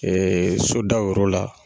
sodaw yɔrɔ la.